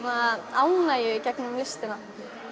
ánægju í gegnum listina